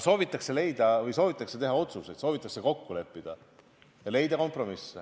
Aga soovitakse teha otsuseid, soovitakse kokku leppida ja leida kompromisse.